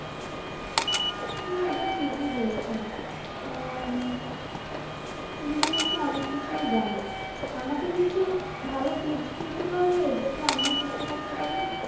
হ্যাঁ এটা ঠিক বলেছ উম তুমি তো দেখছি অনেককিছুই জানো আমাকে কিছু ভাল tips দিতে পারবে যাতে আমিও সুস্থ থাকতে পারি।